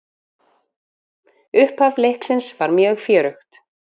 Upphaf leiksins var mjög fjörugt.